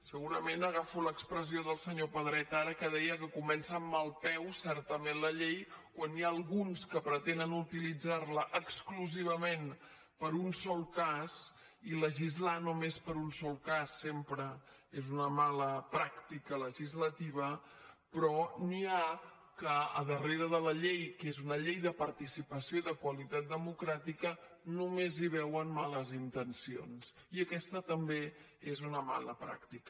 segurament agafo l’expressió del senyor pedret ara que deia que comença amb mal peu certament la llei quan n’hi ha alguns que pretenen utilitzar la exclusivament per a un sol cas i legislar només per a un sol cas sempre és una mala pràctica legislativa però n’hi ha que darrere de la llei que és una llei de participació i de qualitat democràtica només hi veuen males intencions i aquesta també és una mala pràctica